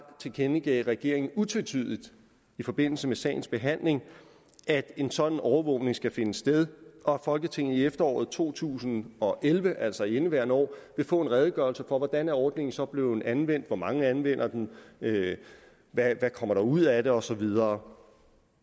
tilkendegav regeringen utvetydigt i forbindelse med sagens behandling at en sådan overvågning skal finde sted og at folketinget i efteråret to tusind og elleve altså i indeværende år vil få en redegørelse for hvordan ordningen så er blevet anvendt hvor mange der anvender den hvad der kommer ud af det og så videre